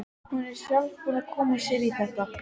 Hún er sjálf búin að koma sér í þetta.